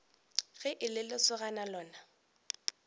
ge e le lesogana lona